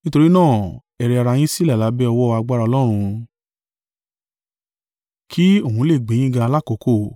Nítorí náà, ẹ rẹ ara yin sílẹ̀ lábẹ́ ọwọ́ agbára Ọlọ́run, kí òun lè gbe yín ga lákokò.